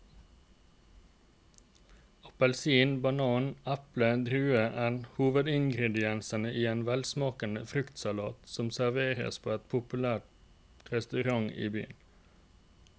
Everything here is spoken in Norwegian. Appelsin, banan, eple og druer er hovedingredienser i en velsmakende fruktsalat som serveres på en populær restaurant i byen.